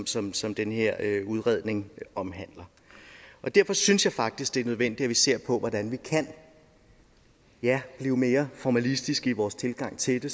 som som den her udredning omhandler og derfor synes jeg faktisk det er nødvendigt at vi ser på hvordan vi kan ja blive mere formalistiske i vores tilgang til det